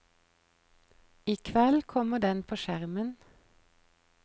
I kveld kommer den på skjermen.